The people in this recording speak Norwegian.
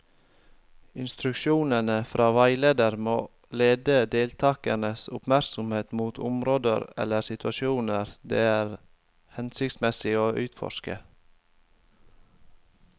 Instruksjonene fra veileder må lede deltakernes oppmerksomhet mot områder eller situasjoner det er hensiktsmessig å utforske.